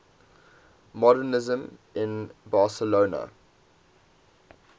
modernisme in barcelona